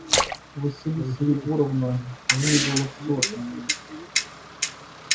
василиса егоровна выведала всё от меня